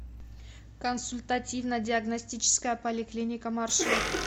консультативно диагностическая поликлиника маршрут